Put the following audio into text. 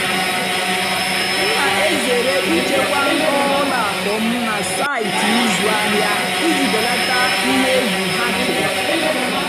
m nà-èzèré ị́chèkwá nkọ́wá ùlọ àkụ́ m nà sáịtị́ ị́zụ́ àhìá ìjì bèlátá íhé ègwu hàckìng.